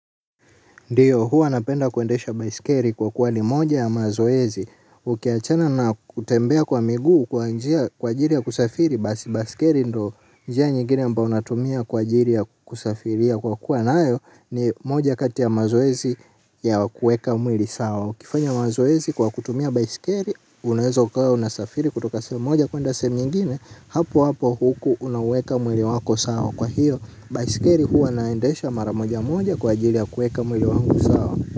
Ndiyo, hua napenda kuendesha baisikeli kwa kuwa ni moja ya mazoezi. Ukiachana na kutembea kwa miguu kwa ajili ya kusafiri, basi baisikeli ndio njia nyingine ambayo natumia kwa ajili ya kusafiria kwa kuwa nayo ni moja kati ya mazoezi ya kueka mwili sawa. Ukifanya mazoezi kwa kutumia baisikelo, unaeza ukawa unasafiri kutoka sehemu moja kuenda sehemu nyingine, hapo hapo huku unaweka mwili wako sawa kwa hiyo. Baisikeli huwa naendesha mara moja moja kwa ajili ya kueka mwili wangu sawa.